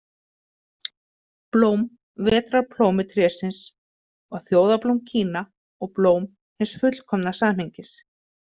Blóm vetrarplómutrésins var þjóðarblóm Kína og blóm hins fullkomna samhengis.